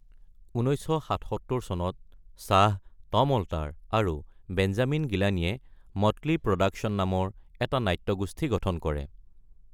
১৯৭৭ চনত শ্বাহ, Tom Alter আৰু বেঞ্জামিন গিলানিয়ে মটলী প্ৰডাকচন নামৰ এটা নাট্যগোষ্ঠী গঠন কৰে।